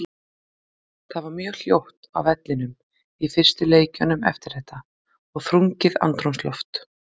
Það var mjög hljótt á vellinum í fyrstu leikjunum eftir þetta og þrungið andrúmsloft.